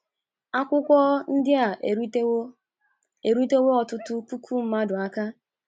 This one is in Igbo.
Akwụkwọ ndị a erutewo erutewo ọtụtụ puku mmadụ aka.